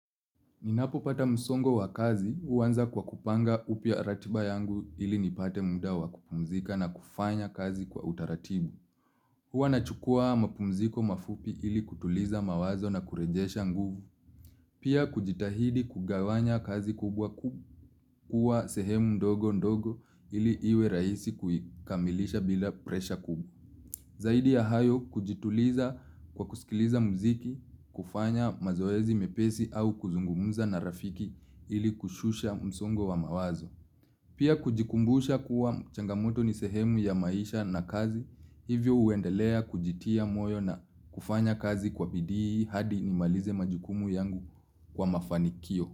Ninapo pata msongo wa kazi, uanza kwa kupanga upya ratiba yangu ili nipate muda wa kupumzika na kufanya kazi kwa utaratibu. Huwa nachukua mapumziko mafupi ili kutuliza mawazo na kurejesha nguvu, pia kujitahidi kugawanya kazi kubwa kubwa kuwa sehemu ndogo ndogo ili iwe raisi kuikamilisha bila presha kubwa. Zaidi ya hayo kujituliza kwa kusikiliza mziki, kufanya mazoezi mepesi au kuzungumuza na rafiki ili kushusha msongo wa mawazo. Pia kujikumbusha kuwa changamoto ni sehemu ya maisha na kazi, hivyo uendelea kujitia moyo na kufanya kazi kwa bidii hadi nimalize majukumu yangu kwa mafanikio.